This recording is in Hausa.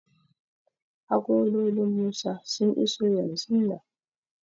Agololin Musa sun iso yanzun nan.